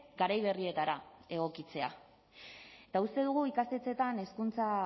garai berrietara egokitzea eta uste dugu ikastetxeetan hezkuntza